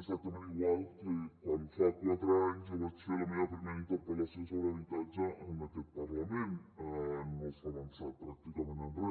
exactament igual que quan fa quatre anys jo vaig fer la meva primera interpel·lació sobre habitatge en aquest parlament no s’ha avançat pràcticament en re